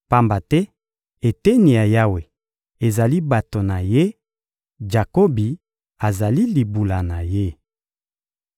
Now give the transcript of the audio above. Pamba te eteni ya Yawe ezali bato na Ye; Jakobi azali libula na Ye.